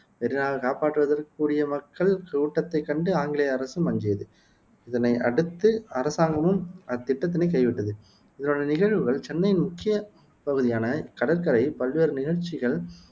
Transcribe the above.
மெரீனாவைக் காப்பாற்றுவதற்குக் கூடிய மக்கள் கூட்டத்தைக் கண்டு ஆங்கிலேய அரசும் அஞ்சியது இதனை அடுத்து அரசாங்கமும் அத்திட்டத்தினைக் கைவிட்டது இதனுடைய நிகழ்வுகள் சென்னையின் முக்கிய பகுதியான இக்கடற்கரையில் பல்வேறு நிகழ்ச்சிகள்